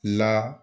La